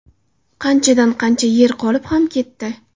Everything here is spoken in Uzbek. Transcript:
Qanchadan qancha yer qolib ham ketdi.